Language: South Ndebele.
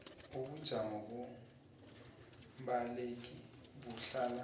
ubujamo bombaleki buhlala